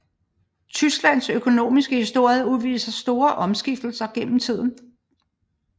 Tysklands økonomiske historie udviser store omskiftelser gennem tiden